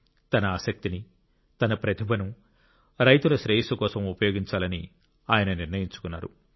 తన ఆసక్తిని తన ప్రతిభను రైతుల శ్రేయస్సు కోసం ఉపయోగించాలని ఆయన నిర్ణయించుకున్నారు